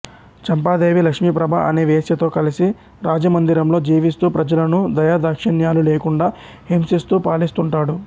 చంపాదేవి లక్ష్మీప్రభ అనే వేశ్యతో కలిసి రాజమందిరంలో జీవిస్తూ ప్రజలను దయాదాక్షిణ్యాలు లేకుండా హింసిస్తూ పాలిస్తుంటాడు